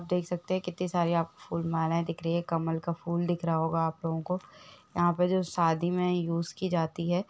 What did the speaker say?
देख सकते है कितनी सारी आपको फूल मालाये दिख रही है कमल का फूल दिख रहा होगा आप लोगो को यहाँ जो सादी में यूज़ की जाती है।